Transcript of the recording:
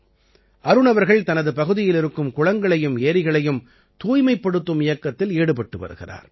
அருண் அவர்கள் தனது பகுதியில் இருக்கும் குளங்களையும் ஏரிகளையும் தூய்மைப்படுத்தும் இயக்கத்தில் ஈடுபட்டு வருகிறார்